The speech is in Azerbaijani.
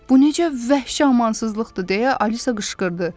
Bu necə vəhşi amansızlıqdır deyə Alisa qışqırdı.